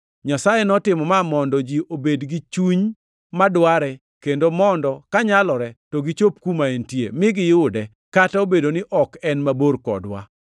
Nyasaye notimo ma mondo ji obed gi chuny madware kendo mondo kanyalore to gichop kuma entie, mi giyude, kata obedo ni ok en mabor kodwa.